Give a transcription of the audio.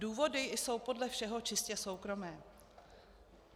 Důvody jsou podle všeho čistě soukromé.